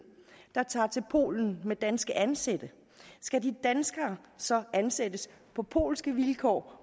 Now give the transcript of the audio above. der tager til polen med danske ansatte skal de danskere så ansættes på polske vilkår